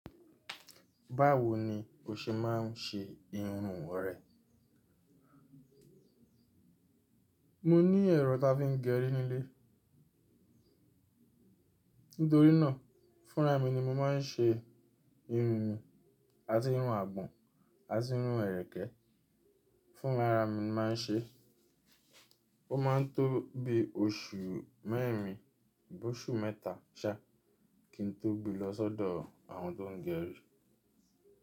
Báwo ni o ṣe máa ń ṣe irun rẹ? Mo ní ẹ̀rọ tá fi ń gẹri nílé. Nítorí náà fúnra mi ni mo máa ń ṣe irun mi, a ti irun àgbọ̀n, a ti irun erẹ̀kẹ́, fúnra ra mi ni mo màá ń ṣe. Ó máa ń tó bi oṣù mẹ́rin bó ṣù mẹ́ta ṣá kí n tó gbe lọ sọ́dọ̀ àwọn tó ń gẹrún.